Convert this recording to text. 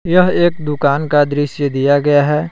यह एक दुकान का दृश्य दिया गया है।